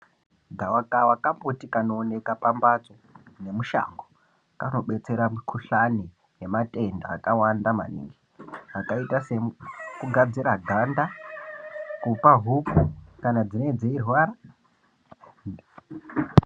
Gava kawa kambuti kanooneka pamhatso nemushango kanodetsera mukhulani nematenda akawanda maningi akaita semu kugadzira ganda kupa huku kana dzinenge dzeirwara.